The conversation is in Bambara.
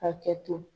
Hakɛ to